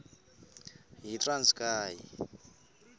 yitranskayi